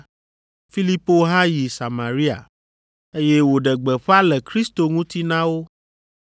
Filipo hã yi Samaria, eye wòɖe gbeƒã le Kristo ŋuti na wo.